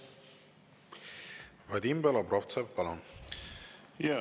Vadim Belobrovtsev, palun!